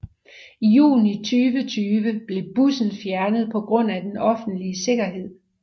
I juni 2020 blev bussen fjernet på grund af den offentlige sikkerhed